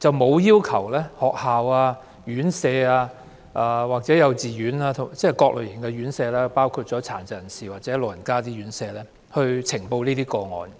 局沒有要求學校、院舍——即各類型院舍，包括殘疾人士和長者院舍——及幼稚園呈報這些個案。